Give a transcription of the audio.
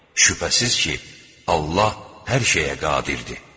Şübhəsiz ki, Allah hər şeyə qadirdir.